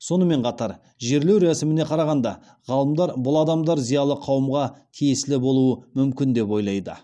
сонымен қатар жерлеу рәсіміне қарағанда ғалымдар бұл адамдар зиялы қауымға тиесілі болуы мүмкін деп ойлайды